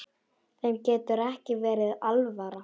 Þeim getur ekki verið alvara.